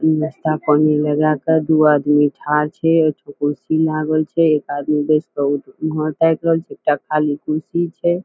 ई नास्ता पानी लगा कर दू आदमी खाइत हे एक ठो कुर्सी लागल छे एक आदमी कुर्सी छे।